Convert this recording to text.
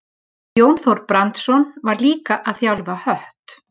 Jón Þór Brandsson var líka að þjálfa Hött.